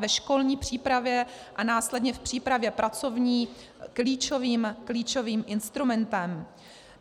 ve školní přípravě a následně v přípravě pracovní klíčovým instrumentem.